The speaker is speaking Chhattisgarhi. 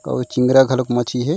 आऊ चिंगरा घलोक मछली हे।